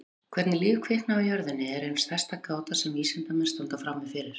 Hvernig líf kviknaði á jörðinni er ein stærsta gáta sem vísindamenn standa frammi fyrir.